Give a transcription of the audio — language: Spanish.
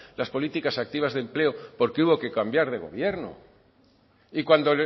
las políticas activas de empleo porque hubo que cambiar de gobierno y cuando